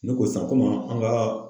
Ne ko san an ka